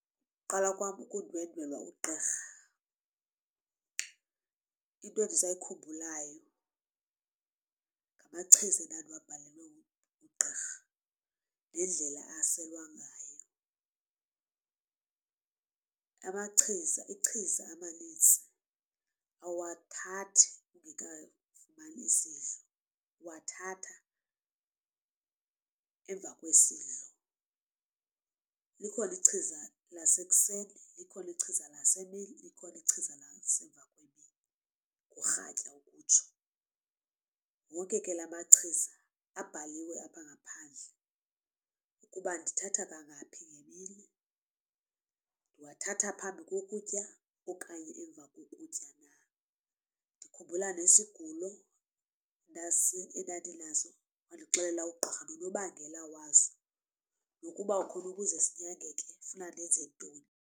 Ukuqala kwam ukundwendwela ugqirha into endisayikhumbulayo ngamachiza endandiyalelwe nguugqirha nendlela aselwa ngayo. Amachiza ichiza amanintsi awuwathathi ungekafumani isidlo uwathatha emva kwesidlo. Likhona ichiza lasekuseni likhona ichiza lasemini likhona ichiza lasemva kwemini urhatya ukutsho. Wonke ke la machiza abhaliwe apha ngaphandle ukuba ndithatha kangaphi ngemini. Ndiwathatha phambi kokutya okanye emva kokutya. Ndikhumbula nesigulo endandinaso, wandixelela ugqiba nonobangela waso nokuba khona ukuze sinyangeke kufuna ndenze ntoni.